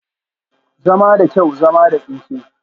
Zama da kyau, zama da tsinke